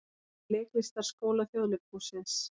Í Leiklistarskóla Þjóðleikhússins.